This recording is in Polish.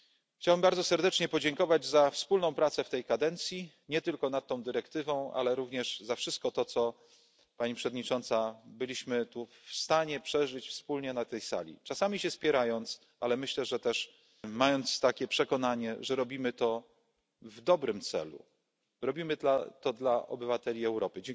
Chciałbym bardzo serdecznie podziękować za wspólną pracę w tej kadencji, nie tylko nad tą dyrektywą, ale również za wszystko to co, Pani Przewodnicząca, byliśmy tu w stanie przeżyć wspólnie na tej sali, czasami się spierając, ale myślę też mając takie przekonanie, że robimy to w dobrym celu, robimy to dla obywateli Europy.